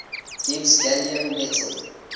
gives gallium metal